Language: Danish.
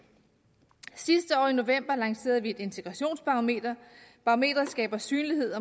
sidste år i november lancerede vi et integrationsbarometer barometeret skaber synlighed